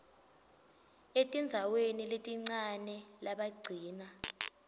etindzaweni letincane labagcina